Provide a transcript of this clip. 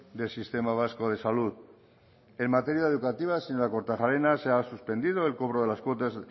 del sistema vasco de salud en materia educativa señora kortajarena se ha suspendido el cobro de las cuotas